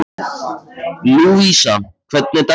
Lúísa, hvernig er dagskráin?